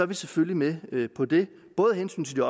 vi selvfølgelig med på det både af hensyn til